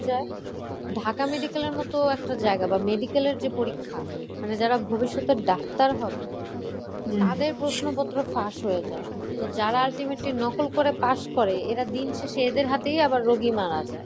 যায়। ঢাকা medical এর মতো একটা জায়গা বা medical এর যে পরীক্ষা মানে যারা ভবিষ্যতের ডাক্তার হবে তাদের প্রশ্নপত্র ফাঁস হয়ে যায়। তো যারা ultimately নকল করে pass করে, এরা দিন শেষে এদের হাতেই আবার রোগী মারা যায়।